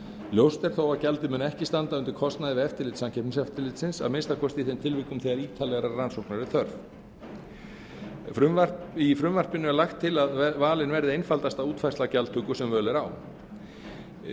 ljóst er þó að gjaldið mun ekki standa undir kostnaði við eftirlit samkeppniseftirlitsins að minnsta kosti í þeim tilvikum þegar ítarlegrar rannsóknar er þörf í frumvarpinu er lagt til að valin verði einfaldasta útfærsla gjaldtöku sem völ er